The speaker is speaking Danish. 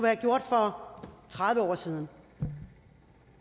have gjort for tredive år siden